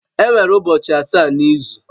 Enwere ụbọchị asaa n'izu